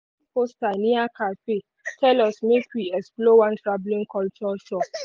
one poster near café tell us make we explore one travelling culture show.